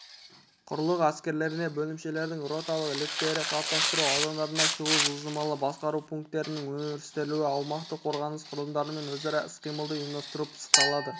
құрлық әскерлерінде бөлімшелердің роталық лектерді қалыптастыру аудандарына шығуы жылжымалы басқару пункттерінің өрістетілуі аумақтық қорғаныс құралымдарымен өзара іс-қимылды ұйымдастыру пысықталады